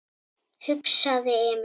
hugsaði Emil.